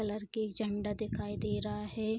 colour की झंडा दिखाई दे रहा हे --